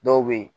Dɔw bɛ yen